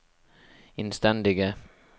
innstendige